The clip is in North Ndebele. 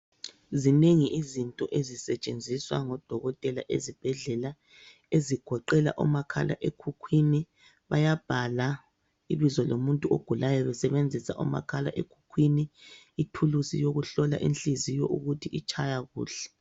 Zinengi izinto ezisetshenziswa ngodokotela ezibhedlela ezigoqela omakhala ekhukhwini bayabhala ibizo lomuntu ogulayo besebenzisa omakhala ekhukhwini, ithuluzi yokuhlola inhliziyo ukuthi itshaya kuhle.